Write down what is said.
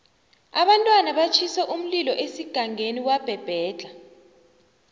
abantwana batjhise umlilo esigangeni wabhebhedlha